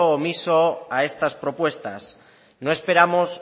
omiso a estas propuestas no esperamos